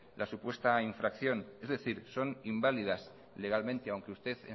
la supuesta infracción es decir sin invalidas legalmente aunque usted